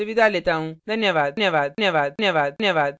यह स्क्रिप्ट प्रभाकर द्वारा अनुवादित है मैं यश वोरा अब आपसे विदा लेता हूँ